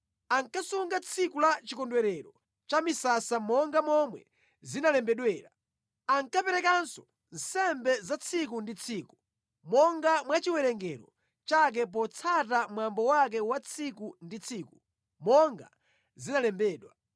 Ankasunga tsiku la chikondwerero cha misasa monga momwe zinalembedwera. Ankaperekanso nsembe za tsiku ndi tsiku monga mwa chiwerengero chake potsata mwambo wake wa tsiku ndi tsiku monga zinalembedwa.